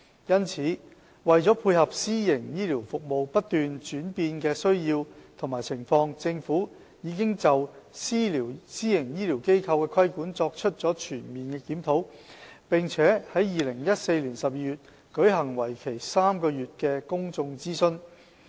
因此，為配合私營醫療服務不斷轉變的需要和情況，政府已就私營醫療機構的規管作出了全面檢討，並於2014年12月舉行為期3個月的公眾諮詢。